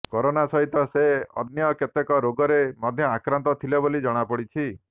corona ସହିତ ସେ ଅନ୍ୟ କେତେକ ରୋଗରେ ମଧ୍ୟ ଆକ୍ରାନ୍ତ ଥିଲେ ବୋଲି ଜଣାପଡ଼ିଛି